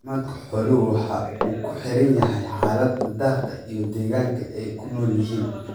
Caafimaadka xooluhu waxa uu ku xidhan yahay xaalada daaqa iyo deegaanka ay ku nool yihiin.